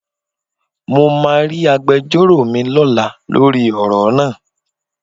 Mo máa rí agbejọ́rò mi lọ́la lórí ọ̀rọ̀ náà.